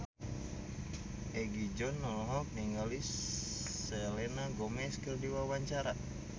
Egi John olohok ningali Selena Gomez keur diwawancara